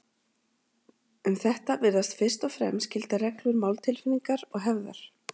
Um þetta virðast fyrst og fremst gilda reglur máltilfinningar og hefðar.